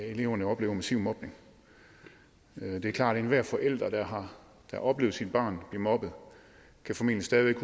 eleverne oplever massiv mobning det er klart at enhver forælder der har oplevet sit barn blive mobbet formentlig stadig væk